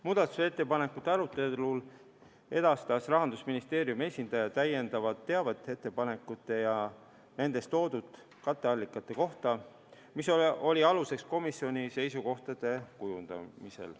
Muudatusettepanekute arutelul edastas Rahandusministeeriumi esindaja täiendavat teavet ettepanekute ja nendes toodud katteallikate kohta, mis oli aluseks komisjoni seisukohtade kujundamisel.